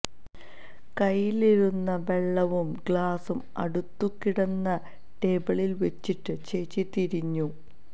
കൈയിലിരുന്ന വെള്ളവും ഗ്ലാസ്സും അടുത്തു കിടന്ന ടേബിളിൽ വച്ചിട്ട് ചേച്ചി തിരിഞ്ഞു